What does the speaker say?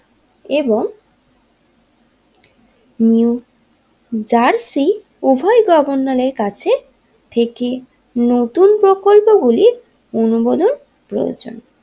এবং New Jersey উভয় গভর্নরের কাছে থেকে নতুন প্রকল্পগুলি অনুবোদন করেছেন।